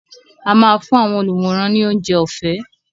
A máa fún àwọn olùwòran ni oúnjẹ ọ̀fẹ́.